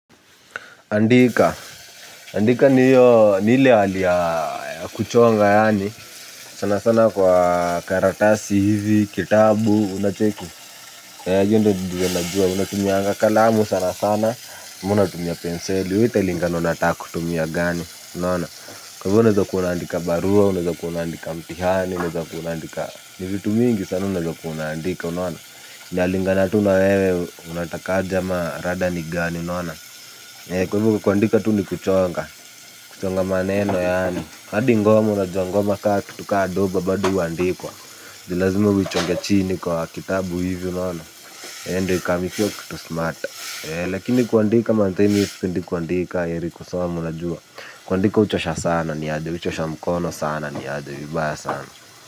Andika. Ndika ni hiyo ni ile hali ya kuchonga yaani, sana sana kwa karatasi hizi, kitabu, unacheki. Hiyo ndio najua, unatumianga kalamu sana sana, unatumia penseli, we italingana unataka kutumia gani, unaona. Kwa hivyo unaezakuwa unaandika barua, unaezakuwa unaandika mtihani, unaezakuwa unaandika ni vitu mingi sana unaezakuwa unaandika, unaona. Inalingana tu na wewe unatakaje ama rada ni gani unaona. Kwa hivyo kuandika tu ni kuchonga. Kuchonga maneno yaani hadi ngoma unajua ngoma ka kitu ka doba bado huandikwa. Ni lazima uichonge chini kwa kitabu hivi unaona ndio ikam ikiwa kitu smart. Lakini kuandika manze mi sipendi kuandika heri kusoma unajua. Kuandika huchosha sana niaje huchosha mkono sana niaje vibaya sana.